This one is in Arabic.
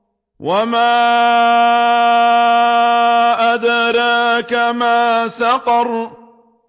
وَمَا أَدْرَاكَ مَا سَقَرُ